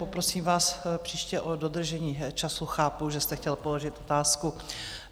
Poprosím vás příště o dodržení času, chápu, že jste chtěl položit otázku.